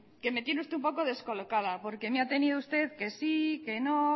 que me tiene usted un poco descolocada porque me ha tenido usted que sí que no